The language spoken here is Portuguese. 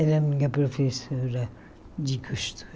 Era minha professora de costura.